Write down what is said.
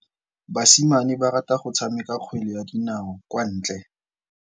Basimane ba rata go tshameka kgwele ya dinaô kwa ntle.